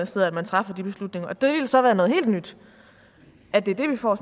sidder at man træffer de beslutninger og det ville så være noget helt nyt at det er det vi får